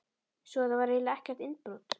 Svo þetta var eiginlega ekkert innbrot.